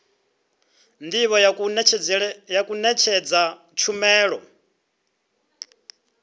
ndivho ya u nekedza tshumelo